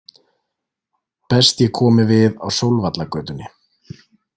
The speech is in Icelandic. Best ég komi við á Sólvallagötunni.